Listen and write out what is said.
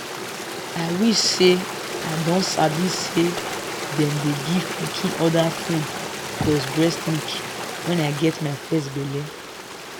i wish say i don sabi say them dey give pikin other food plus breast milk when i get my first belle.